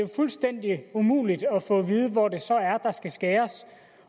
fuldstændig umuligt at få at vide hvor det så er der skal skæres